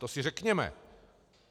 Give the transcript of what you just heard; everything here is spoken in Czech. To si řekněme.